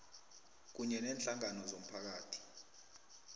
kunye neenhlangano zomphakathi